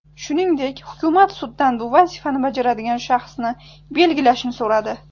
Shuningdek, hukumat suddan bu vazifani bajaradigan shaxsni belgilashni so‘radi.